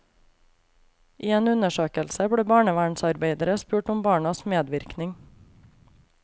I en undersøkelse ble barnevernsarbeidere spurt om barnas medvirkning.